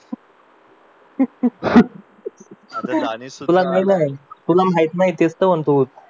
तुला माहित नाही तेच तर म्हणतो